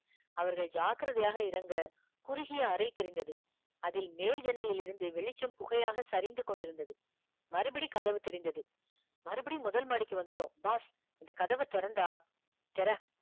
அவர்கள் ஜாக்கிரதையாக இறங்க குறுகிய அறை தெரிந்தது அதில் மேல் ஜன்னலிலிருந்து வெளிச்சம் புகையாக சரிந்து கொண்டிருந்தது மறுபடி கதவு தெரிந்தது மறுபடியும் முதல் மாடிக்கு வந்துட்டோம் boss இந்த கதவை திறந்தா திற